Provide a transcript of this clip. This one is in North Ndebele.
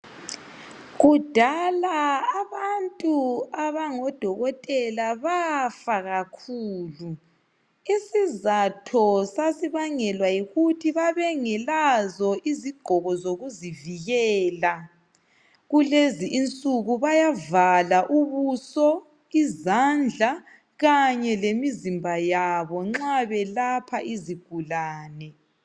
Kudala abantu abangodokotela bafa kakhulu. Isizatho sasibangelwa yikuthi babengelazo izigqoko zokuzivikela. Kulezi insuku bayavala izandla kanye lemizimba yabo nxa belapha izigulane.